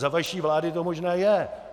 Za vaší vlády to možné je.